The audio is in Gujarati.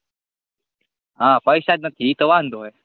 હા પૈસા જ નથી ઇ તો વાંધો હે